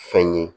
Fɛn ye